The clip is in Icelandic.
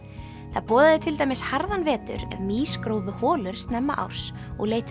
það boðaði til dæmis harðan vetur ef mýs grófu holur snemma árs og leituðu